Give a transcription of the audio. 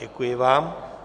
Děkuji vám.